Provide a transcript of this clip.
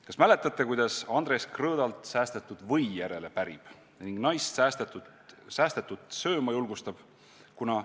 Kas mäletate, kuidas Andres Krõõdalt säästetud või järele pärib ja naist säästetut sööma julgustab?